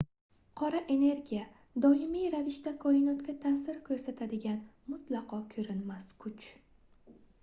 qora energiya doimiy ravishda koinotga taʼsir koʻrsatadigan mutlaqo koʻrinmas kuch